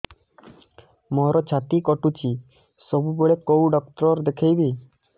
ମୋର ଛାତି କଟୁଛି ସବୁବେଳେ କୋଉ ଡକ୍ଟର ଦେଖେବି